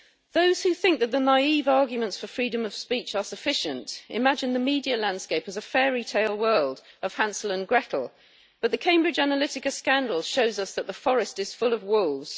Those who think that the naive arguments for freedom of speech are sufficient imagine the media landscape as a fairy tale world of Hansel and Gretel, but the Cambridge Analytica scandal shows us that the forest is full of wolves.